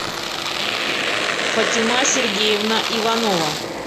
фатима сергеевна иванова